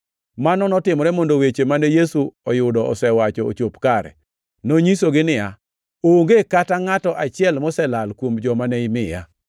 Mano notimore mondo weche mane Yesu oyudo osewacho ochop kare. Nonyisogi niya, “Onge kata ngʼato achiel moselal kuom joma ne imiya.” + 18:9 \+xt Joh 6:39\+xt*